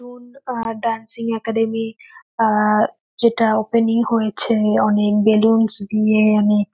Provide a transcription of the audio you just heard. হুম ah dancing academy ah যেটা opening হয়েছে অনেক বেলুনস দিয়ে অনেক--